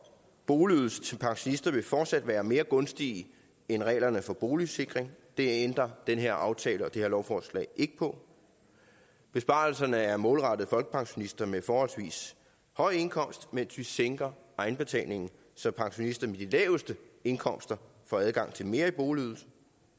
boligydelse til pensionister vil fortsat være mere gunstige end reglerne for boligsikring det ændrer den her aftale og det her lovforslag ikke på besparelserne er målrettet folkepensionister med forholdsvis høj indkomst mens vi sænker egenbetalingen så pensionister med de laveste indkomster får adgang til mere i boligydelse